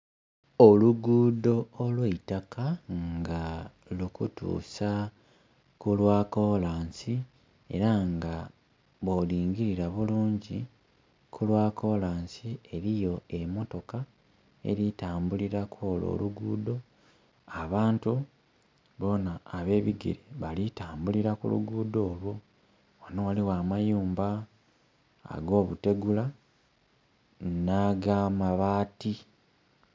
Olugudho olw'eitaka nga lukutuusa ku lwa kolansi era nga bwolingilira bulungi ku lwa kolansi eriyo emotoka eritambulira ku olwo olugudho. Abantu bona abe bigere bali tambulira ku lugudho olwo. Ghano ghaligho amayumba ag'obutegula nhi ag'amabati.